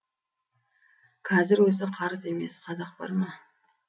қазір өзі қарыз емес қазақ бар ма